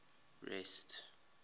rest